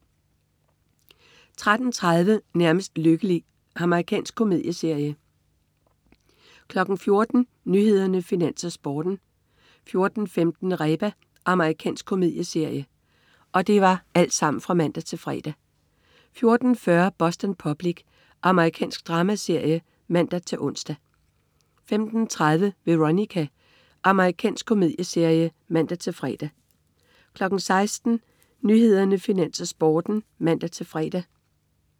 13.30 Nærmest lykkelig. Amerikansk komedieserie (man-fre) 14.00 Nyhederne, Finans, Sporten (man-fre) 14.15 Reba. Amerikansk komedieserie (man-fre) 14.40 Boston Public. Amerikansk dramaserie (man-ons) 15.30 Veronica. Amerikansk komedieserie (man-fre) 16.00 Nyhederne, Finans, Sporten (man-fre)